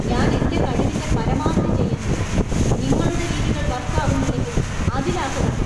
ഞാൻ എന്‍റെ കഴിവിന്‍റെ പരമാവധി ചെയ്യുന്നുണ്ട്, നിങ്ങളുടെ രീതികൾ വര്‍ക്ക് ആവുന്നില്ലെങ്കില്‍ അതിലാ കുഴപ്പം.